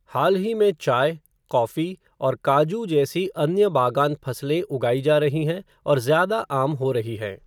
हाल ही में चाय, कॉफ़ी और काजू जैसी अन्य बागान फसलें उगाई जा रही हैं और ज़्यादा आम हो रही हैं।